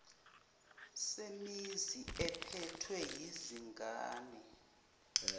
semizi ephethwe yizingane